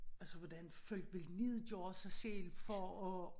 Altså hvordan folk vil nedgøre sig selv for at